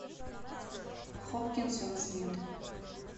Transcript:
хопкинсон смит